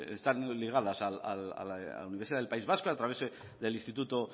está ligada a la universidad del país vasco a través del instituto